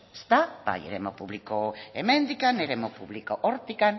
eremu publikoa hemendik eremu publikoa hortik